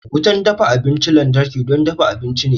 Wutar dafa abinchin lantarki don dafa abinci ne.